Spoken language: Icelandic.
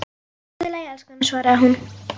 Allt í lagi, elskan, svaraði hún.